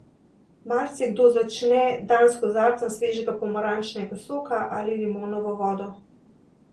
Marsikdo začne dan s kozarcem svežega pomarančnega soka ali limonovo vodo.